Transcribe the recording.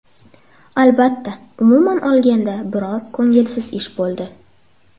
Albatta, umuman olganda biroz ko‘ngilsiz ish bo‘ldi.